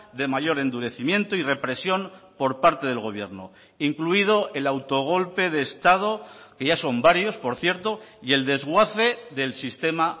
de mayor endurecimiento y represión por parte del gobierno incluido el autogolpe de estado que ya son varios por cierto y el desguace del sistema